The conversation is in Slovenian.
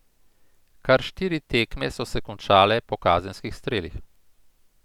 Kar štiri tekme so se končale po kazenskih strelih.